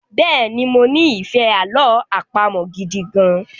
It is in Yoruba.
Bẹ́ẹ̀ni, mo ní ìfẹ́ àlọ àpamọ̀ gidi gan-an